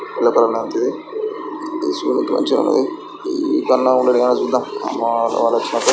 yellow colour లాంటిది చూద్దాం ఇవ్వకుండా ఉండడు కాని చూద్దాం --